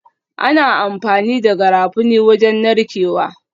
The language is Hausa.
Ana amfani da Garafuni wajen narkewa